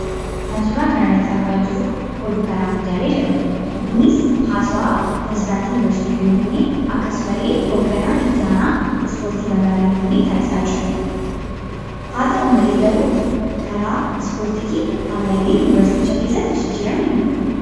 Kan suuraa kanarrattii argaa jiruu kun oduu karaalee miidiyaa darbudha. Innis haasawaa pirezedaantii yuunivarsiitii Finfinnee akkasumallee hoogganaa itti aanaa ispoortii magaalaa Finfinnee taasisaa jiranidha. Haa ta'u malee karaa ispoortiitiin ammallee jijjiiramni hin dhufne.